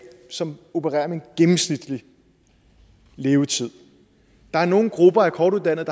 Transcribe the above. som opererer med en gennemsnitlig levetid der er nogle grupper af kortuddannede